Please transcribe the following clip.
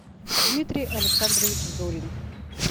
дмитрий александрович зорин